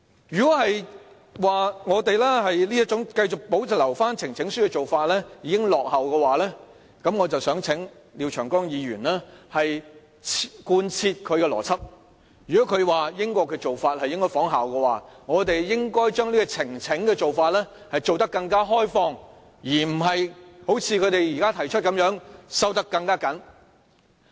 如果我們繼續保留呈請書的做法已落伍，那我想請廖長江議員貫徹他的邏輯，如果他認為應仿效英國的做法，我們應把呈請的做法做得更開放，而不是好像他們現在建議的修訂般收得更緊。